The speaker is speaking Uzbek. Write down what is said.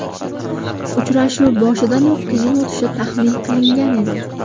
Uchrashuv boshidanoq qiyin o‘tishi taxmin qilingan edi.